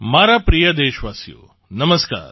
મારા પ્રિય દેશવાસીઓ નમસ્કાર